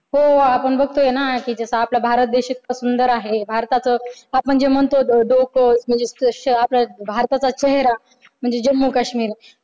हो. आपण बघतोय ना कि जसा आपला भारत देश इतका सुंदर आहे. भारताचं आपण जे म्हणतो डोकं म्हणजेच आपल्या भारताचा चेहरा म्हणजे जम्मू कश्मीर